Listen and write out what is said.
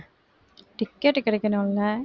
ticket கிடைக்கணும் இல்ல